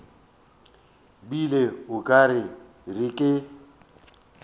bile o ka re ke